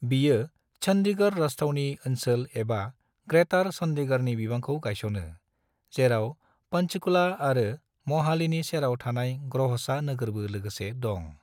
बियो चंडीगढ़ राजथावनि ओनसोल एबा ग्रेटर चंडीगढ़नि बिबांखौ गायसनो, जेराव पंचकुला आरो मोहालीनि सेराव थानाय ग्रहसा नोगोरबो लोगोसे दं।